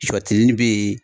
Sɔtelini bɛ yen